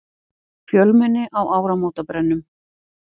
Fjölmenni á áramótabrennum